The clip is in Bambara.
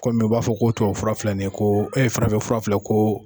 Kɔmi u b'a fɔ ko tubabu fura filɛ nin ye ko e farafin fura fila ko